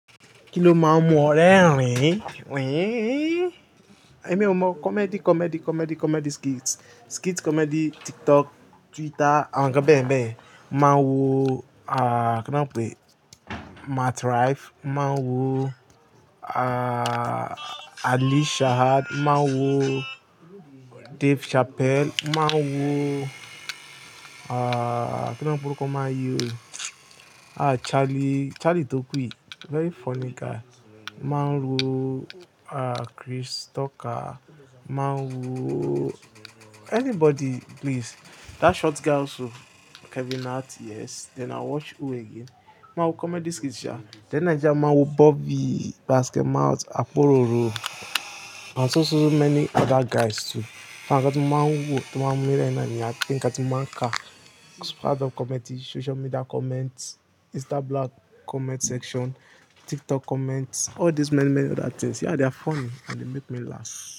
Kí ni o máa ń mú ọ rẹ́rìn, rìn. Èmi ò mọ comedy, comedy, comedy, comedy skits, skit comedy, TikTok, Twitter, àwọn ǹkan bẹ́yẹn bẹ́yẹn. Máa ń wo, à, kí ni wọ́n ń pè? Matt Rife. Máa ń wo, Ali Shahad. Máa ń wo Dave Chappelle. Máa ń wo, kí ni ọ̀pọ̀lọpọ̀ ọkùnrin man yí ò. Charlie, Charlie tó kù yì, very funny guy. Máa ń wo, à, Chris Tucker. Máa ń wo anybody, please. That short guy also, Kevin Hart, yes. Then i watch who again? Máa ń wo comedy skits ṣa. Then Nigeria, máa ń wo Bobby, Basketmouth, Akpororo, and so so so many other guys too. Àwọn ǹkan tí mo máa ń wò tó máa ń mú mí rẹ́rìn ín ni a kí n ka tí mo máa ń kà. Standup comedy, social media comments, Instablog comment section, TikTok comments, all these many, many other things. Yeah, they are funny and they make me laugh.